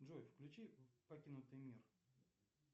джой включи покинутый мир